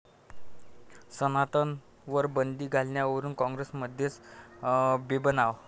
सनातनवर बंदी घालण्यावरून काँग्रेसमध्येच बेबनाव